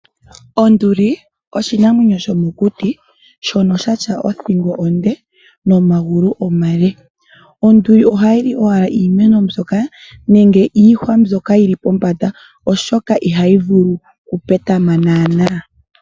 Onduli oshinamwenyo shomokuti shono shatya othingo onde nomagulu omale. Onduli ohayi li owala iimeno nenge iihwa mbyoka yili pombanda oshoka ihayi vulu okupetama naanaa.